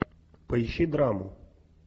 поищи драму